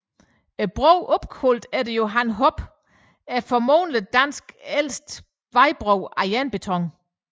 Broen er opkaldt efter Johan Hoppe og er formodentlig Danmarks ældste vejbro af jernbeton